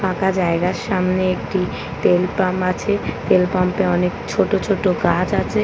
ফাঁকা জায়গার সামনে একটি তেলপাম্প আছে তেল পাম্প -এ অনেক ছোট ছোট গাছ আছে ।